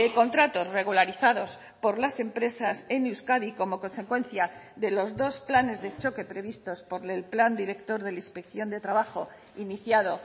contratos regularizados por las empresas en euskadi como consecuencia de los dos planes de choque previstos por el plan director de la inspección de trabajo iniciado